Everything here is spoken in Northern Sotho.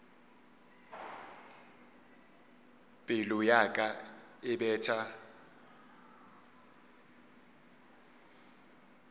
pelo ya ka e betha